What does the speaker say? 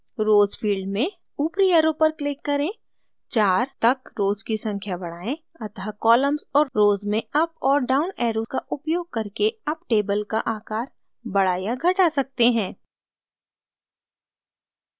rows field में ऊपरी arrow पर क्लिक करें 4 तक rows की संख्या बढ़ाएँअतः columns और rows में अप और डाउन ऐरो का उपयोग करके आप टेबल का आकार बढ़ा या घटा सकते हैं